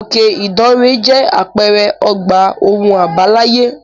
Òkè ìdànrè jẹ́ àpẹẹrẹ ọgbà ohun àbáláyé.